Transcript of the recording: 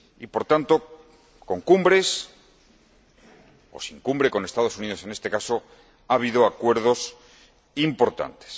Por tanto, con cumbres o sin cumbre —con los Estados Unidos, en este caso— ha habido acuerdos importantes.